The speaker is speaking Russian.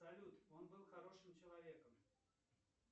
салют он был хорошим человеком